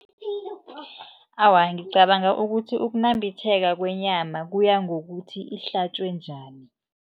Awa, ngicabanga ukuthi ukunambitheka kwenyama kuya ngokuthi ihlatjwe njani.